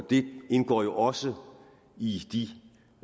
det indgår jo også i i